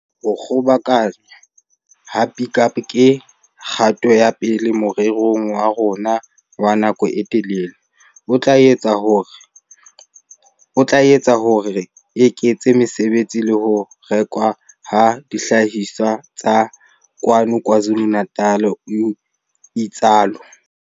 "Ho kgobokanngwa ha Pik Up ke kgato ya pele morerong wa rona wa nako e telele, o tla etsa hore re eketse mesebetsi le ho rekwa ha dihlahiswa tsa kwano KwaZulu-Natal," o itsalo.